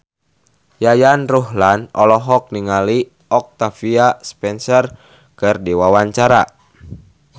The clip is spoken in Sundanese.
Yayan Ruhlan olohok ningali Octavia Spencer keur diwawancara